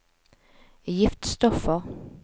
giftstoffer